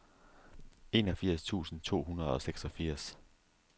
enogfirs tusind to hundrede og seksogfirs